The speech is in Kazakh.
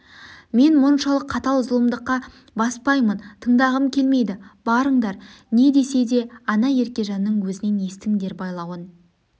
мен мұншалық қатал зұлымдыққа баспаймын тындағым келмейді барындар не десе де ана еркежанның өзінен естіңдер байлауын